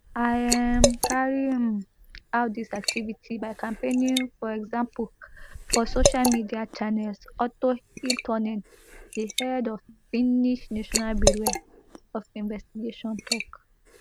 im um carry um out dis activity by campaigning for example for social media channels otto hiltunen di head of finnish national bureau of investigation tok